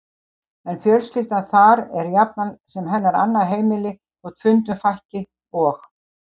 En fjölskyldan þar er jafnan sem hennar annað heimili þótt fundum fækki, og